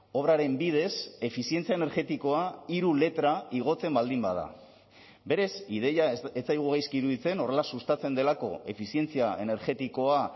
obraren bidez efizientzia energetikoa hiru letra igotzen baldin bada berez ideia ez zaigu gaizki iruditzen horrela sustatzen delako efizientzia energetikoa